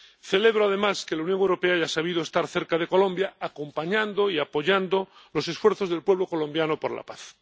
Celebro, además, que la Unión Europea haya sabido estar cerca de Colombia, acompañando y apoyando los esfuerzos del pueblo colombiano por la paz.